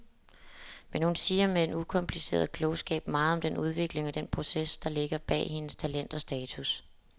Men hun siger med en ukompliceret klogskab meget om den udvikling og den proces, der ligger bag hendes talent og status.